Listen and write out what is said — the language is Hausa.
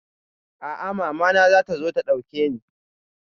A'a, mama na zata zo ta ɗauke ni.